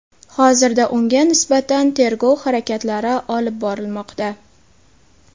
Hozirda unga nisbatan tergov harakatlari olib borilmoqda.